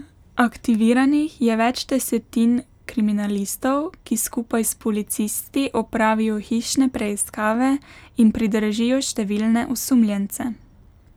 Aktiviranih je več desetin kriminalistov, ki skupaj s policisti opravijo hišne preiskave in pridržijo številne osumljence.